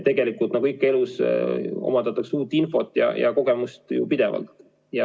Tegelikult, nagu elus ikka, omandatakse uut infot ja kogemusi ju pidevalt.